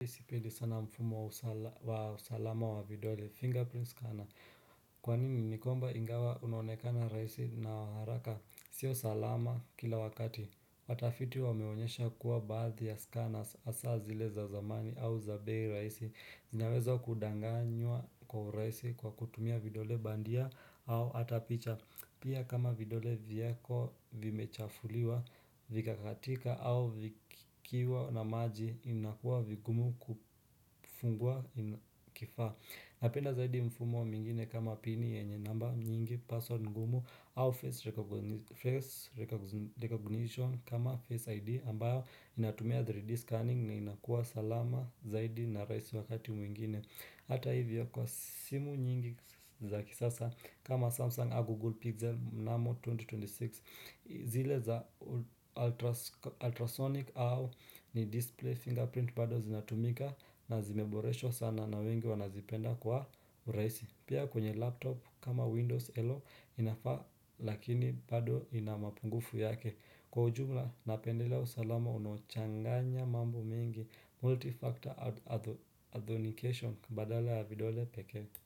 Sipendi sana mfumo wa usalama wa vidole. Fingerprint scanner. Kwa nini ni kwamba ingawa unaonekana rahisi na waharaka? Sio salama kila wakati. Watafiti wameonyesha kuwa baadhi ya scanners hasa zile za zamani au za bay raisi zinaweza kudanganywa kwa raisi kwa kutumia vidole bandia au atapicha Pia kama vidole viyako vimechafuliwa vika katika au vikiwa na maji inakuwa vigumu kufungua kifaa Napenda zaidi mfumo mwingine kama pini yenye namba nyingi password ngumu au face rec recognition kama face ID ambayo inatumia 3D scanning na inakua salama zaidi na raisi wakati mwingine Hata hivyo kwa simu nyingi za kisasa kama Samsung a Google Pixel Mnamo 2026 zile za ultrasonic au ni display fingerprint bado zinatumika na zimeboreshwa sana na wengi wanazipenda kwa rahisi pia kwenye laptop kama windows hello inafaa lakini bado inamapungufu yake kwa ujumla napendelea usalama unaochanganya mambo mengi multifactor authentication badala ya videole pekee.